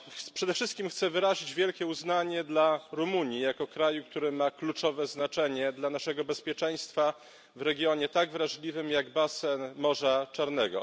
Przede wszystkim chcę wyrazić wielkie uznanie dla Rumunii jako kraju, który ma kluczowe znaczenie dla naszego bezpieczeństwa w regionie tak wrażliwym jak basen Morza Czarnego.